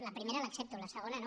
la primera l’accepto la segona no